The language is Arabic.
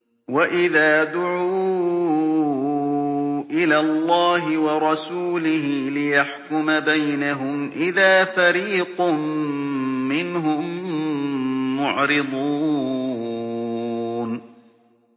وَإِذَا دُعُوا إِلَى اللَّهِ وَرَسُولِهِ لِيَحْكُمَ بَيْنَهُمْ إِذَا فَرِيقٌ مِّنْهُم مُّعْرِضُونَ